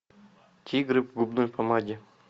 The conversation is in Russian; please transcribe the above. тигры в губной помаде